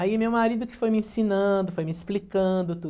Aí meu marido que foi me ensinando, foi me explicando tudo.